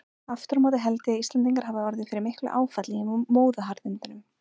Aftur á móti held ég að Íslendingar hafi orðið fyrir miklu áfalli í móðuharðindunum.